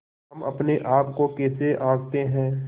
हम अपने आप को कैसे आँकते हैं